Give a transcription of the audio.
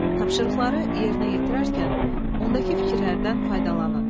Tapşırıqları yerinə yetirərkən, ondakı fikirlərdən faydalanın.